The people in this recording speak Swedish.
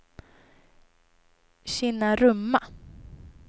Kinnarumma